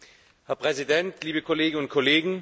Herr Präsident, liebe Kolleginnen und Kollegen!